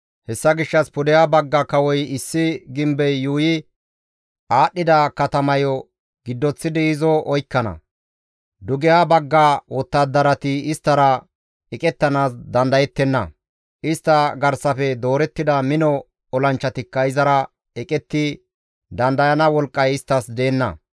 Hessa gishshas pudeha bagga kawoy issi gimbey yuuyi aadhdhida katamayo giddoththidi izo oykkana; dugeha bagga wottadarati isttara eqettanaas dandayettenna; istta garsafe doorettida mino olanchchatikka izara eqetti dandayana wolqqay isttas deenna.